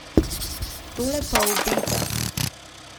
Tole pa obeta.